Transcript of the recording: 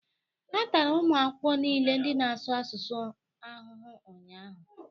A tara ụmụ akwụkwọ niile ndị na-asụ asụsụ ahụhụ ụnyahụ